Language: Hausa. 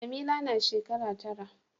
Jamila na shekara tara.